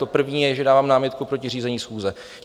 To první je, že dávám námitku proti řízení schůze.